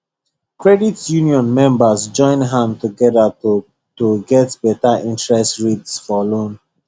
credit union members join hand together to to get better interest rates for loan